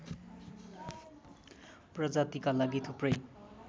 प्रजातिका लागि थुप्रै